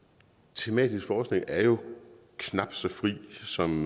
tematisk forskning er jo knap så fri som